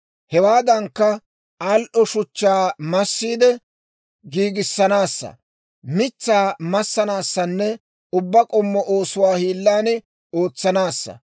Hewaadankka, al"o shuchchaa massiide giigissanaassa; mitsaa massanaassanne ubbaa k'ommo oosuwaa hiilan ootsanaassa.